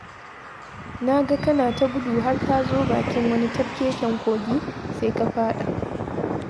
Na ga kana ta gudu har ka zo bakin wani tafkeken kogi sai ka faɗa.